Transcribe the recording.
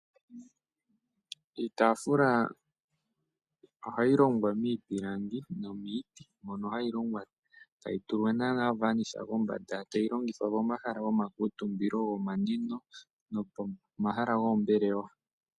Iitafula ohayi longwa miipilangi nomiti moka hayi longwa etayi tulwa nana ovanisha kombanda, etayi longithwa momahala gomakutumbilo gomanwino nomomahala goombelewa.